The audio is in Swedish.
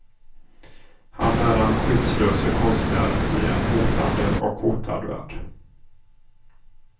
Han är den skyddslöse konstnären i en hotande och hotad värld.